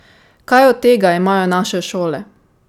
Kaj od tega imajo naše šole?